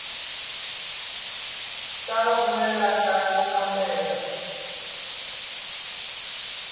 ta pfumelela nkari wo kambela